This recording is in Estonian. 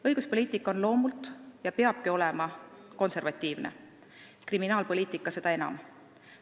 Õiguspoliitika on ja peabki olema loomult konservatiivne, kriminaalpoliitika seda enam.